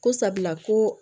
Ko sabula ko